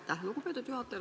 Aitäh, lugupeetud juhataja!